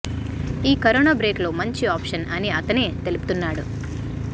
ఈ corona break లో మంచి ఆప్షన్ అని అతనే తెలుపుతున్నాడు